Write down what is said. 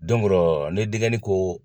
orɔ ni dɛnkɛnin ko.